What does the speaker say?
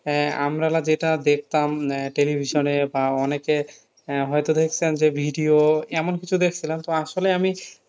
আহ আমরা হলো যেটা দেখতাম আহ television এ বা অনেকে আহ হয়তো দেখছেন যে video এমন কিছু দেখছিলাম তো আসলে আমি